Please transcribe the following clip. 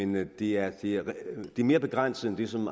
men det er mere mere begrænset end det som